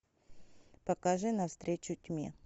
покажи на встречу тьме